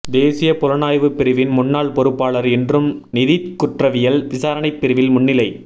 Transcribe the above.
தேசிய புலனாய்வுப் பிரிவின் முன்னாள் பொறுப்பாளர் இன்றும் நிதிக் குற்றவியல் விசாரணைப் பிரிவில் முன்னிலை